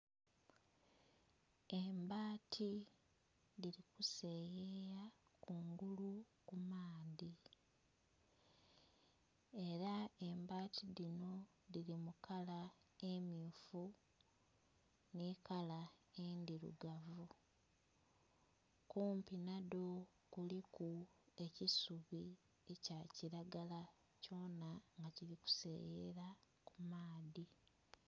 Embaati dhili ku seyeya kungulu ku maadhi era embaati dhinho dhili mu kala emyufu nhi kala endhirugavu, kumpi nha dho kuliku ekisubi ekya kilagala kyona nga kili kuseyeyera ku maadhi.